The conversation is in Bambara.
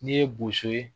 N'i ye boso ye